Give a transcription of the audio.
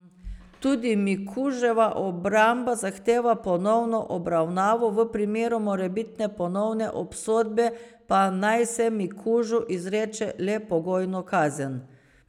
Tudi Mikuževa obramba zahteva ponovno obravnavo, v primeru morebitne ponovne obsodbe pa naj se Mikužu izreče le pogojno kazen.